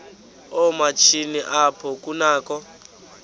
yoomatshini apho kunakho